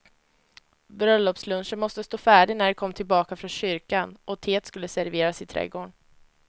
Bröllopslunchen måste stå färdig när de kom tillbaka från kyrkan, och teet skulle serveras i trädgården.